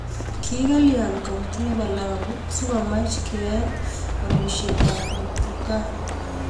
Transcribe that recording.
ko kalyain kaunti nebo Lamu sikomach keet amekab muguka?